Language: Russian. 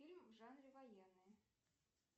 фильм в жанре военные